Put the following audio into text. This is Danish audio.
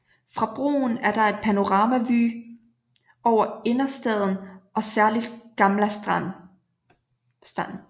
Fra broen er der et panoramavue over Innerstaden og særligt Gamla stan